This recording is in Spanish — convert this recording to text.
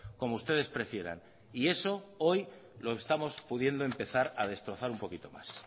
como ustedes prefieran y eso hoy lo estamos pudiendo empezar a destrozar un poquito más